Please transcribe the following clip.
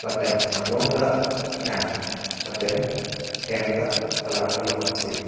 lapen anglong ta thi-ang lapen hem ta color akelok angse.